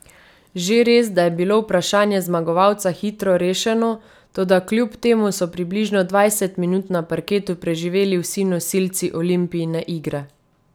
Že res, da je bilo vprašanje zmagovalca hitro rešeno, toda kljub temu so približno dvajset minut na parketu preživel vsi nosilci Olimpijine igre.